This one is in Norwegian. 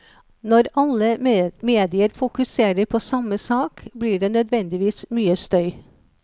Når alle medier fokuserer på samme sak, blir det nødvendigvis mye støy.